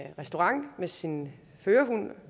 en restaurant med sin førerhund